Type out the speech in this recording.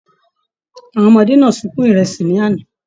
Àwọn ọmọdé náà sunkún ìrẹsì l'ana.